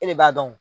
E de b'a dɔn